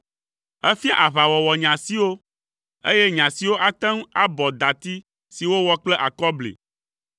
Efia aʋawɔwɔ nye asiwo, eye nye asiwo ate ŋu abɔ dati si wowɔ kple akɔbli.